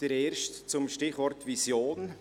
Der erste betrifft das Stichwort «Vision».